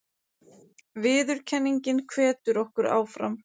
Óvissa hefur ríkt um tökustað myndanna